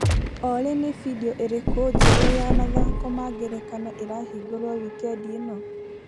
Olĩ nĩ bindiũ ĩrĩkũ njerũ ya mathako ma ngerekano ĩrahingũrwo wikendi ĩno?